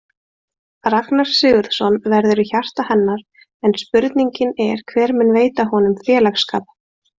Ragnar Sigurðsson verður í hjarta hennar en spurningin er hver mun veita honum félagsskap?